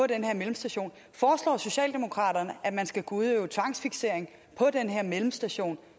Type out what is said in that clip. den her mellemstation foreslår socialdemokraterne at man skal kunne udøve tvangsfiksering i den her mellemstation